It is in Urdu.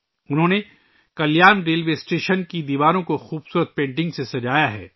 انہوں نے کلیان ریلوے اسٹیشن کی دیواروں کو خوبصورت پینٹنگز سے سجایا ہے